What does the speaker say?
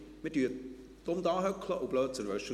Wir sitzen dumm da und schauen blöd aus der Wäsche.